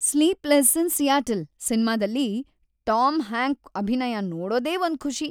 """Sleepless in Seattle"" ಸಿನ್ಮಾದಲ್ಲಿ Tom Hank ಅಭಿನಯ ನೋಡೋದೇ ಒಂದ್‌ ಖುಷಿ."